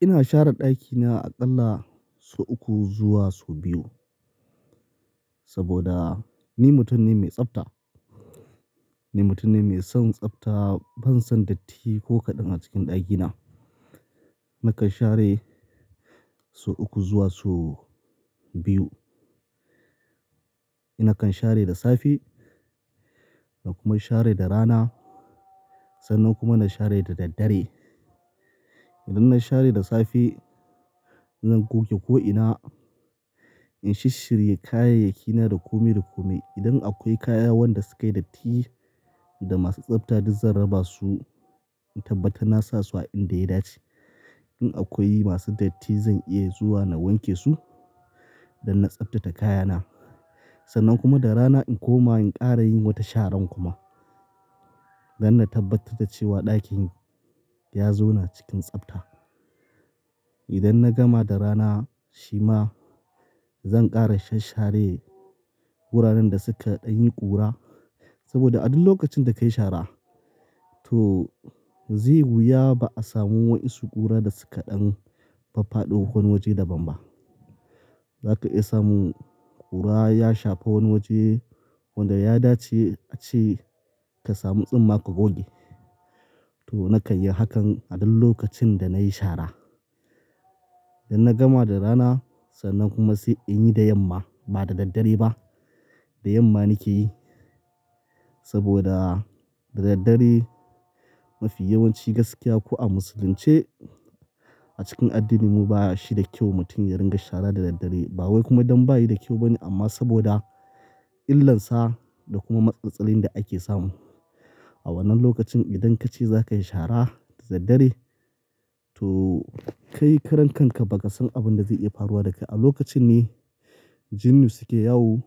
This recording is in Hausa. Ina share ɗakina aƙalla sau uku zuwa sau biyu. Saboda, ni mutum ne mai tsafta. Ni mutum ne mai son tsafta, ban son datti ko kaɗan a cikin ɗakina. Nakan share sau uku zuwa sau biyu. Na kan share da safe, na kuma share da rana, sannan kuma na share da daddare. Idan na share da safe, zan goge ko ina, in shishshirye kayayyakina duk kome duk kome. Idan akwai kaya wanda sukayi datti, da masu tsafta duk zan raba su, in tabbatar na sa su a inda yayi dace. In akwai masu datti zan iya zuwa na wanke su, don na tsaftate kayana. Sannan kuma da rana in koma in ƙara yin wata sharan kuma. Dan na tabbatar da cewa ɗakin, ya zona cikin tsafta. Idan na gama da rana, shima zan ƙara shash share wuraren da suka ɗan yi ƙura. Saboda a duk lokacin da kayi shara to zai wuya ba'a samu wa'insu ƙura da suka ɗan faffado wani waje daban ba. Zaka iya samun, ƙura ya shafa wani waje, wanda ya dace ace ka samu tsumma ka goge. To na kan yi hakan, a duk lokacin da nayi shara. Da na gama da rana, sannan kuma sai in yi da yamma, ba da daddare ba. Da yamma nike yi, saboda da daddare mafi yawanci gaskiya ko a musulunce, a cikin addininmu ba shi da kyau mutum ya ringa shara da daddare. Ba wai kuma don bayi da kyau bane amma saboda, illansa da kuma matsatsatsalun da ake samu. A wannan lokacin idan kace za kayi shara, da daddare to kai karan kanka bakasan abin zai iya faruwa daka. A lokacin ne, jinnu suke yawo